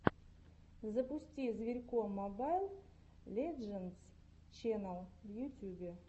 запусти зверько мобайл лэджендс ченнал в ютюбе